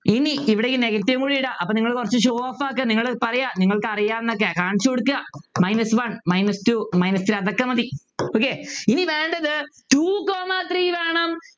ഇനി ഇവിടെ ഈ negative കൂടെ ഇടാം അപ്പൊ നിങ്ങൾ കുറച്ചു show off ആക്കി നിങ്ങള് പറയാ നിങ്ങൾക്ക് അറിയാ ന്നൊക്കെ കാണിച്ചു കൊടുക്കാ minus one minus two minus three അതൊക്കെ മതി okay ഇനി വേണ്ടത് Two comma three വേണം